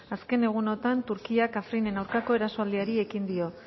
azken egunotan turkiak afrinen aurkako erasoaldiari egin dio